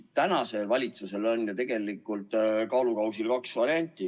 Praegusel valitsusel on tegelikult kaalukausil kaks varianti.